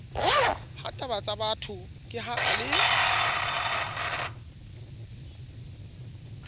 hatabatsabatho ke ha a le